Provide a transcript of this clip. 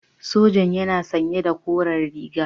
Sojan yana sanye da koren riga.